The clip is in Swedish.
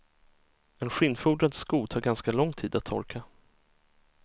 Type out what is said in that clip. En skinnfodrad sko tar ganska lång tid att torka.